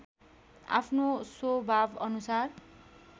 आफ्नो स्वभावअनुसार